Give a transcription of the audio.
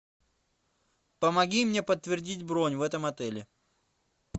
помоги мне подтвердить бронь в этом отеле